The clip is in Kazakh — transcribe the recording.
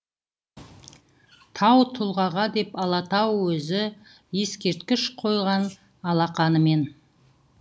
тау тұлғаңа деп алатау өзі ескерткіш қойған алақанымен